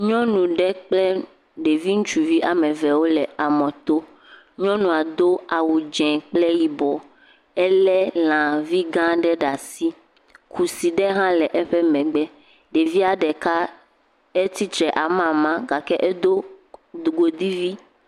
Nyɔnu ɖe kple ɖevi ŋutsuvi ame eve wole amɔto, nyɔnua do awu dze kple yibɔ, elé lã vi gã aɖe ɖe asi, kusi ɖe hã le eƒe megbe, ɖevia ɖeka etsitre amama gake edo godui vi.